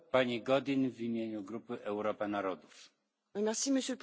Monsieur le Président, la flotte de pêche outre mer est vieillissante